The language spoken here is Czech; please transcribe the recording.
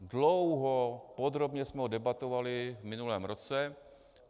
Dlouho, podrobně jsme ho debatovali v minulém roce.